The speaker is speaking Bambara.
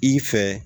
I fɛ